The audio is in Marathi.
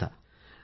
phone call 3